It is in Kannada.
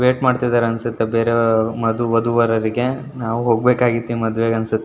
ವೇಟ್ ಮಾಡ್ತಾ ಇದ್ದಾರೆ ಅನಿಸುತ್ತೆ ಬೇರೆ ಮದು ವಧುವರರಿಗೆ ನಾವು ಹೋಗ್ಬೇಕಾಗಿತ್ತು ಈ ಮದುವೆಗೆ ಅನಿಸುತ್ತೆ.